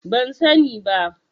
Ban sani ba.